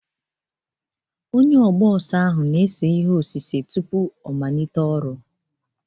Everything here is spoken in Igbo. Onye na-eme egwuregwu na-ese wii wii tupu ọ gaa n'ọhịa